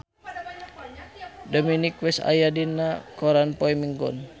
Dominic West aya dina koran poe Minggon